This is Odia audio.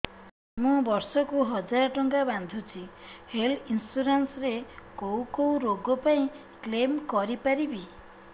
ମୁଁ ବର୍ଷ କୁ ହଜାର ଟଙ୍କା ବାନ୍ଧୁଛି ହେଲ୍ଥ ଇନ୍ସୁରାନ୍ସ ରେ କୋଉ କୋଉ ରୋଗ ପାଇଁ କ୍ଳେମ କରିପାରିବି